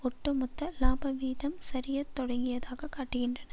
ஒட்டு மொத்த லாபவீதம் சரிய தொடங்கியதாக காட்டுகின்றன